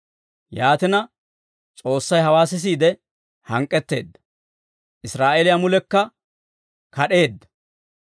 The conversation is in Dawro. Yaatina, S'oossay hawaa sisiide hank'k'etteedda; Israa'eeliyaa mulekka kad'eedda.